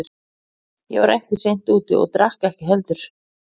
Ég var ekki seint úti og drakk ekki heldur.